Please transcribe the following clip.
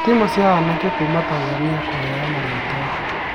Timu cia anake kuuma Tanzania kũhewa marĩtwa